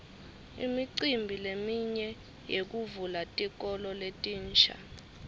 imicimbi leminye yekuvula tikolo letinsha